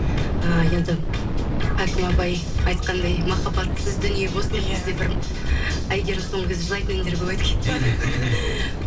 ыыы енді хәкім абай айтқандай махаббатсыз дүние бос деп бізде бір әйгерім соңғы кезде жылайтын әндер көп айтып кетті ғой